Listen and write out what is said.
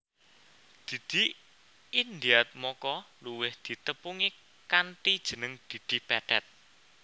Didi Indiatmoko luwih ditepungi kanthi jeneng Didi Petet